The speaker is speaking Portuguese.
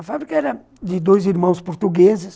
A fábrica era de dois irmãos portugueses.